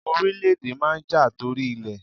Orílẹ̀ èdè máa n ja tori ilẹ̀